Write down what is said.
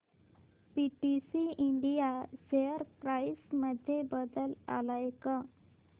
PTC India share price मध्ये बदल आलाय का